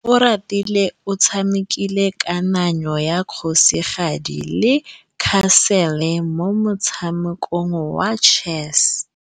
Oratile o tshamekile kananyô ya kgosigadi le khasêlê mo motshamekong wa chess.